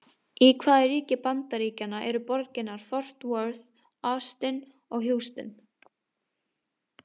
Í hvaða ríki Bandaríkjanna eru borgirnar Fort Worth, Austin og Houston?